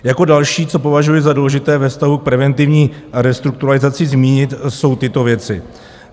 Jako další, co považuji za důležité ve vztahu k preventivní restrukturalizaci zmínit, jsou tyto věci.